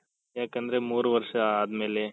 ಯಾಕಂದ್ರೆ ಮೂರು ವರ್ಷ ಅದ್ಮೇಲೆ